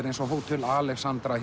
eins og Hótel Alexandra